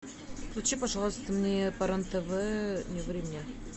включи пожалуйста мне по рен тв не ври мне